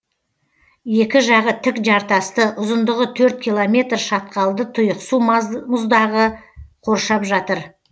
екі жағы тік жартасты ұзындығы төрт километр шатқалды тұйықсу мұздағы қоршап жатыр